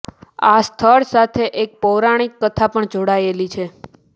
આ સ્થળ સાથે એક પૌરાણિક કથા પણ જોડાયેલી છે